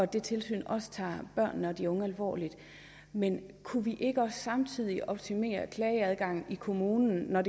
det tilsyn også tager børnene og de unge alvorligt men kunne vi ikke også samtidig optimere klageadgangen i kommunen når